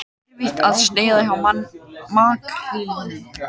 Erfitt að sneiða hjá makrílnum